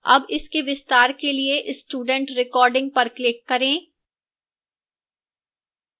अब इसके विस्तार के लिए student recording पर click करें